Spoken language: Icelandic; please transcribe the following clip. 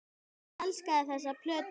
Og ég elskaði þessa plötu.